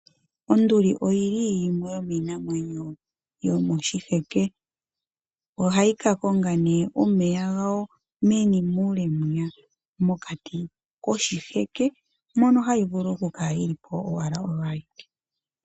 Onduli oyili yimwe yomiinamwenyo yomoshiheke . Ohayi kakonga nee omeya gayo meni muule mokati koshiheke mono hayi vulu okukala yi lipo owala oyo awike .